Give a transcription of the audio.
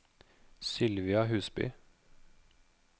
Sylvia Husby